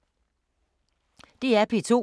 DR P2